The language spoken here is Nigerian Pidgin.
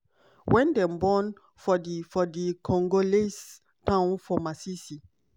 wen dem born for di for di congolese town for masisi.